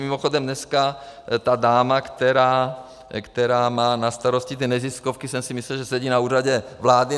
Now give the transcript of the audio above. Mimochodem, dneska ta dáma, která má na starosti ty neziskovky, jsem si myslel, že sedí na Úřadě vlády.